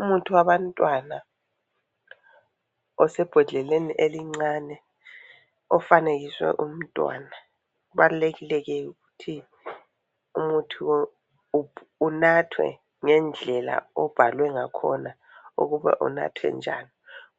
Umuthi wabantwana osebhodleleni elincane ofanekiswe umntwana. Kubalulekile ke ukuthi umuthi lo unathwe ngendlela obhalwe ngakhona ukuba unathwe njani